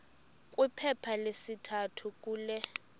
kwiphepha lesithathu kule